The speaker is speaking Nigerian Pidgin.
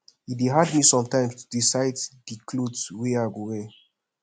e dey hard me sometimes to decide di cloth wey i go wear